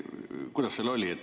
Kuidas seal oli?